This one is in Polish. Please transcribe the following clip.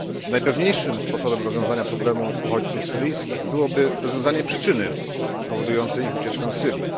Najpewniejszym sposobem rozwiązania problemu uchodźców syryjskich byłoby rozwiązanie przyczyny powodującej ich ucieczkę z Syrii.